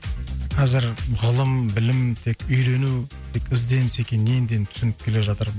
қазір ғылым білім тек үйрену тек ізденіс екенін енді енді түсініп келе жатыр